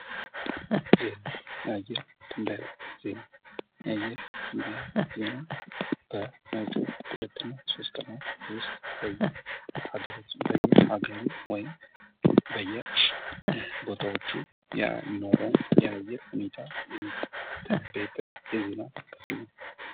የአየር ትንበያ ዜና የአየር ትንበያ ዜና ባለፉት ሁለት እና ሶስት ቀናት ዉስጥ በሃገራችንን የተለያየ አካባቢ ወይም በየቦታዎቹ የሚኖረውን የአየር ሁኔታ የሚተነበይበት የዜና ክፍል ነው።